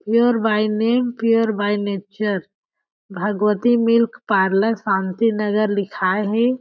Pure by में pure by nature Bhagwati milk parlour Shanti Nagar लिखाये हे।